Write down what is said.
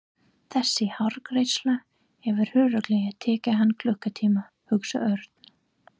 Þessi hárgreiðsla hefur örugglega tekið hann klukkutíma hugsaði Örn.